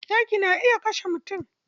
Zaki na iya kashe mutum.